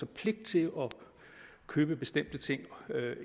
pligt til at købe bestemte ting